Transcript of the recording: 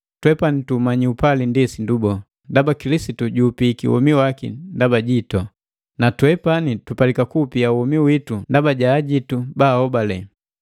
Twepani tuumanyi upali ndi sindu boo, ndaba Kilisitu juupiiki womi waki ndaba jitu. Natwepani tupalika kupia womi witu ndaba ja ajitu baahobale.